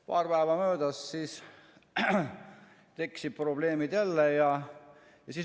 Paari päeva möödudes tekkisid probleemid jälle.